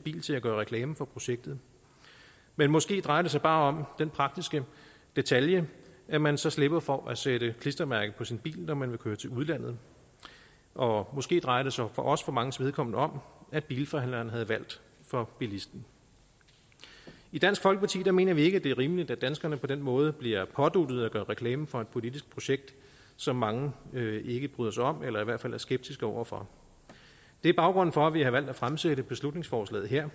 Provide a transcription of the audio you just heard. bil til at gøre reklame for projektet men måske drejer det sig bare om den praktiske detalje at man så slipper for at sætte klistermærket på sin bil når man vil køre til udlandet og måske drejer det sig også for manges vedkommende om at bilforhandleren havde valgt for bilisten i dansk folkeparti mener vi ikke at det er rimeligt at danskerne på den måde bliver påduttet at gøre reklame for et politisk projekt som mange ikke bryder sig om eller i hvert fald er skeptiske over for det er baggrunden for at vi har valgt at fremsætte beslutningsforslaget her